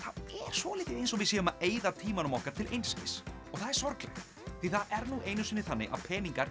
svolítið eins og við séum að eyða tímanum okkar til einskis það er sorglegt því það er nú einu sinni þannig að peningar